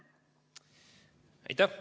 Aitäh!